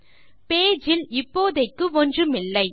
சரி பேஜ் இல் இப்போதைக்கு ஒன்றுமில்லை